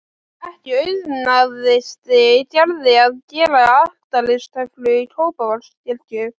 Ekki auðnaðist Gerði að gera altaristöflu í Kópavogskirkju.